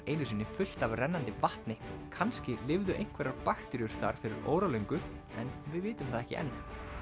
einu sinni fullt af rennandi vatni kannski lifðu einhverjar bakteríur þar fyrir óralöngu en við vitum það ekki enn